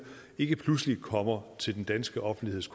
ikke pludselig kommer til den danske offentligheds